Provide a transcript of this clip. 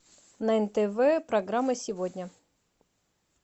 на нтв программа сегодня